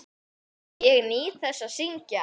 Ég nýt þess að syngja.